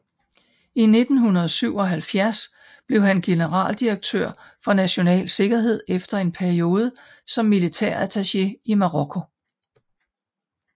I 1977 blev han generaldirektør for national sikkerhed efter en periode som militærattaché i Marokko